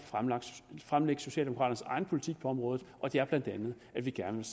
fremlægge socialdemokraternes egen politik på området og det er bla at vi gerne